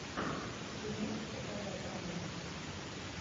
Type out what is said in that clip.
ты можешь показать романтик